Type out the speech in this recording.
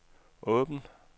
åbn